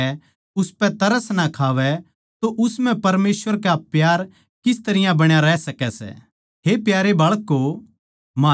हे प्यारे बिश्वासी भाईयो जै म्हारा मन हमनै दोष ना दे तो हमनै परमेसवर कै आग्गै जाण म्ह होसला मिलै सै